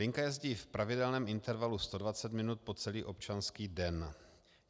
Linka jezdí v pravidelném intervalu 120 minut po celý občanský den.